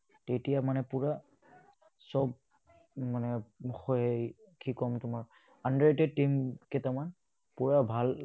তেতিয়া মানে পুৰা চব মানে হয়, কি ক'ম তোমাক, under-rated team কেইটামান পুৰা ভাল